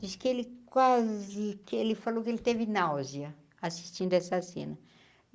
Diz que ele quase que ele falou que ele teve náusea, assistindo essa cena.